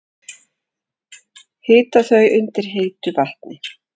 Hita þau undir heitu vatni?